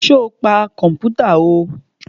Sọ pa kọ̀mpútà o?